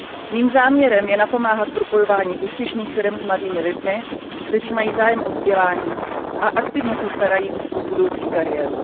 Mým záměrem je napomáhat propojování úspěšných firem s mladými lidmi, kteří mají zájem o vzdělávání a aktivně se starají o svou budoucí kariéru.